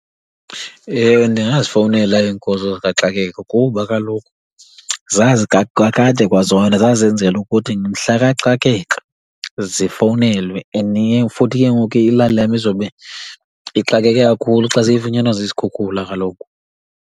Ewe, ndingazifowunela iinkonzo zikaxakeka kuba kaloku kakade kwazona zazenzelwa ukuthi mhla kaxakeka zifowunelwe and futhi ke ngoku iilali lam izobe ixakeke kakhulu xa seyifunyanwa zizikhukhula kaloku.